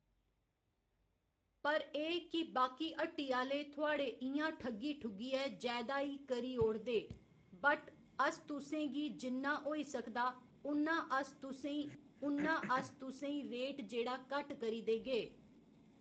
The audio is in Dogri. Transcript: पर एह् कि बाकी हट्टी आह्‌ले थुआढ़े इ'यां ठग्गी ठुग्गियै जैदा ई करी ओड़दे बट अस तुसें गी जिन्ना होई सकदा उन्ना अस तुसें ई उन्ना अस तुसें ई रेट जेह्ड़ा घट्ट करी देगे